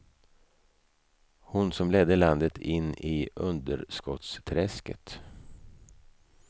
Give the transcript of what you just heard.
Hon som ledde landet in i underskottsträsket.